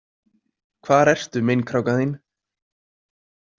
Hvar ertu, meinkrákan þín?